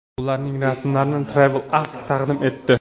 Ularning rasmlarini Travel Ask taqdim etdi.